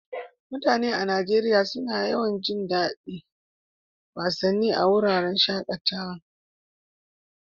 Mutane a Najeriya suna jin daɗin yin wasanni a wuraren shaƙatawa.